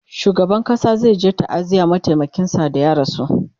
shugaban ƙasa zayaje ta'aziyar mataimakin sa da ya rasu